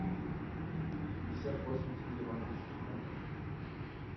пятьдесят восемь тенге в английских фунтах